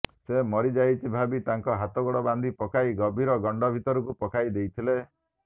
ସେ ମରିଯାଇଛି ଭାବି ତାଙ୍କର ହାତଗୋଡ଼ ବାନ୍ଧି ପକାଇ ଗଭୀର ଗଣ୍ଡ ଭିତରକୁ ପକାଇ ଦେଇଥିଲେ